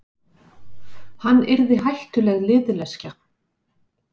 Hann yrði hættuleg liðleskja.